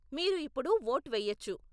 మీరు ఇప్పుడు వోట్ వెయ్యొచ్చు.